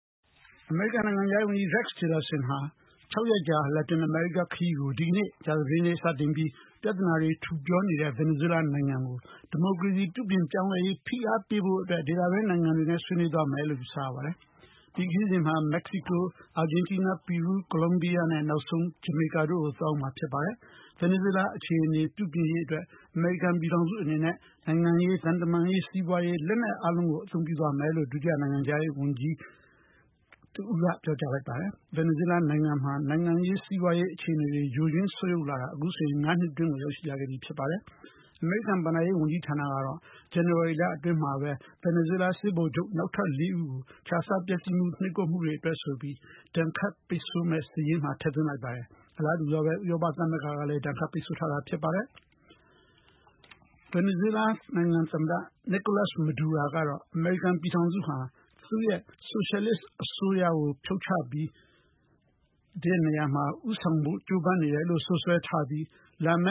အမေရိကန်နိုင်ငံခြားရေးဝန်ကြီး Rex Tillerson ဟာ ခြောက်ရက်ကြာ လက်တင်အမေရိကား ခရီးကို ဒီကနေ့ ကြာသာပတေးနေ့စတင်ပြီး ပြဿနာတွေ ထူပြောနေတဲ့ ဗင်နီဇွဲလားနိုင်ငံ ဒီမိုကရေစီ ပြုပြင်ပြောင်းလဲရေးအတွက် ဖိအားပေးဖို့ ဒေသတွင်းနိုင်ငံတွေနဲ့ ညှိုနှိုင်းသွားမယ်လို့ ယူဆရပါတယ်။ ဒီခရီးစဉ်မှာ မက္ကဆီကို၊ အာဂျင်တီနား၊ ပီရူး၊ ကိုလံဘီယာ နဲ့ နောက်ဆုံး ဂျမေကာ တို့ကို သွားရောက်မှာဖြစ်ပါတယ်။ ဗင်နီဇွဲလား အခြေအနေပြုပြင်ရေးအတါက် အမေရိကန်ပြည်ထောင်စုအနေနဲ့ နိုင်ငံရေးသံတမန်ရေး၊ စီးပွားရေး၊ လက်နက်အားလုံးကို အသုံးပြုသွားမယ်လို့ နိုင်ငံခြားရေး အကြီးတန်းအရာရှိတဦးက ပြောကြားထားပါတယ်။ ဗင်နီဇွဲလားနိုင်ငံမှာ နိုင်ငံရေး၊ စီးပွားရေး အခြေအနေတွေ ယိုယွင်းဆုတ်ယုတ်လာတာ အခုဆို ငါးနှစ်ထဲ ရောက်လာခဲ့ပါပြီ။ အမေရိကန်ဘဏ္ဍာရေးဝန်ကြီးဌာနကတော့ ဇန်နဝါရီလတွင်းမှာပဲ ဗင်နီဇွဲလား စစ်ဗိုလ်ချုပ် လေးဦးကို ခြစားပျက်စီးမှု၊ နှိပ်ကွက်ချုပ်ချယ်မှုတို့အတွက်ဆိုပြီး ဒဏ်ခတ်ပိတ်ဆို့မယ့် စာရင်း ထပ်မံထည့်သွင်းလိုက်ပါတယ်။ အလားတူပဲ ဥရောပသမဂ္ဂကလဲ ဒဏ်ခတ်ပိတ်ဆို့ထားတာပါ။ ဗင်နီဇွဲလား သမ္မတ Nicolas Madura ကတော့- အမေရိကန်ပြည်ထောင်စုဟာ သူ့ရဲ့ ဆိုရှယ်လစ်အစိုးရကို ဖြုတ်ချဖို့ ဦးဆောင်ကြိုးပမ်းနေတယ်လို့ စွပ်စွဲထားပြီး၊ လာမ